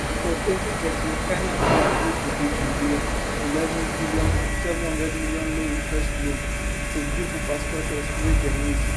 for 2013 china bin agree to give nigeria 11bn 700m lowinterest loan to build infrastructures wey dem need